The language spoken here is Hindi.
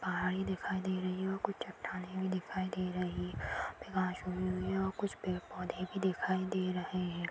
पहाड़ी दिखाई दे रही है और कुछ चट्टानें भी दिखाई दे रही हैं और कुछ पेड़-पौधे भी दिखाई दे रहे हैं।